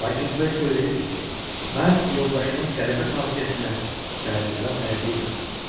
Lakin B söyləyirdi ki, mən yoldaşımın qəribə xasiyyətinə təəccüblənməyə bilmirdim.